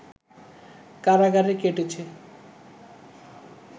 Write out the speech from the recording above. কারাগারে কেটেছে